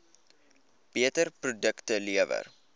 beter produkte lewer